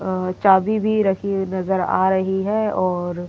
अ चाबी भी रखी हुई नजर आ रही है और ये --